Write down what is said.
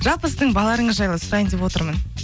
жалпы сіздің балаларыңыз жайлы сұрайын деп отырмын